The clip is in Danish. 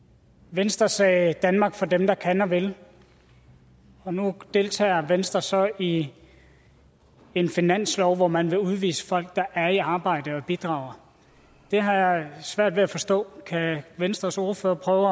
venstre sagde danmark for dem der kan og vil og nu deltager venstre så i en finanslov hvor man vil udvise folk der er i arbejde og bidrager det har jeg svært ved at forstå kan venstres ordfører prøve